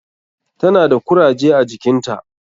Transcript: Ta na da kuraje a jikinta.